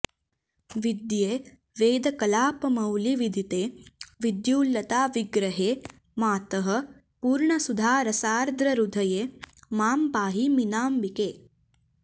विद्ये वेदकलापमौलिविदिते विद्युल्लताविग्रहे मातः पूर्णसुधारसार्द्रहृदये मां पाहि मीनाम्बिके